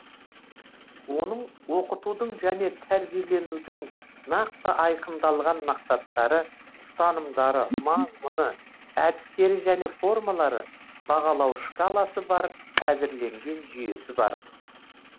оның оқытудың және тәрбиеленудің нақты айқындалған мақсаттары ұстанымдары мазмұны әдістері және формалары бағалау шкаласы бар әзірленген жүйесі бар